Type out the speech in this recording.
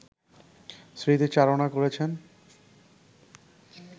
স্মৃতিচারণা করেছেন